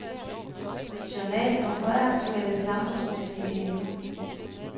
Journal om højaktuelle, samfundsmæssige emner.